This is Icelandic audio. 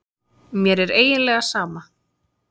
Mér er eiginlega sama.